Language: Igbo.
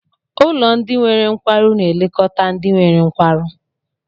Ụlọ ndị nwere nkwarụ na-elekọta ndị nwere nkwarụ.